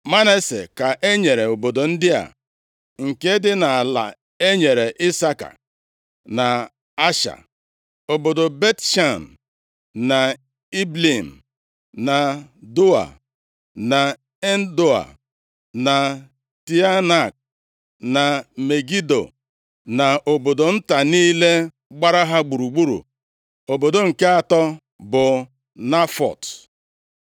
Manase ka e nyere obodo ndị a, nke dị nʼala e nyere Isaka na Asha: obodo Bet-Shan, na Ibleam, na Doa, na Endoa, na Teanak, na Megido, na obodo nta niile gbara ha gburugburu. Obodo nke atọ bụ Nafọt.